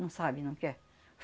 Não sabe, não quer.